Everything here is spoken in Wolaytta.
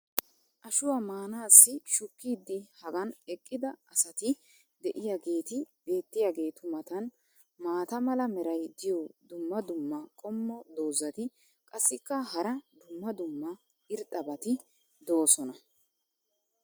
Ashuwa maanaassi shukkidi hagan eqqida asati diyaageeti beetiyaageetu matan maata mala meray diyo dumma dumma qommo dozzati qassikka hara dumma dumma irxxabati doosona.